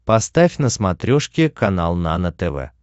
поставь на смотрешке канал нано тв